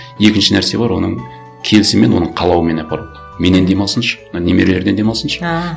екінші нәрсе бар оның келісімімен оның қалауымен апару менен демалсыншы мына немерелерден демалсыншы ааа